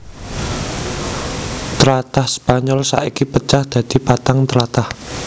Tlatah Spaynol saiki pecah dadi patang tlatah